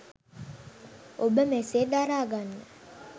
ඔබ මෙසේ දරාගන්න